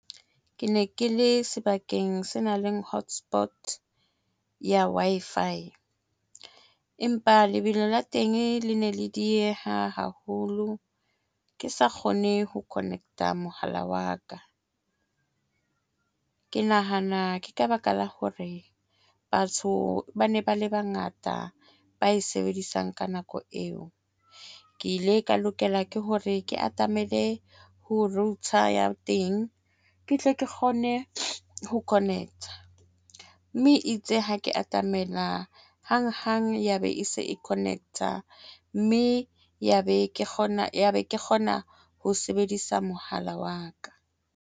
Ke ne ke le sebakeng se nang le hotspot ya Wi-Fi empa lebelo la teng le ne le dieha haholo, ke sa kgone ho connect-a mohala wa ka, mme ke nahana ke ka baka la hore batho ba ne ba le bangata ba e sebedisang. Ka nako eo, ke ile ka lokela ke hore ke atamele ho router ya teng, ke tle ke kgone ho connect-a mme itse ha ke atamela hanghang, ya be e se e connect-a mme ya be ke kgona ya be ke kgona ho sebedisa mohala wa ka.